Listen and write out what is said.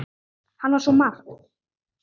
Hann var svo margt.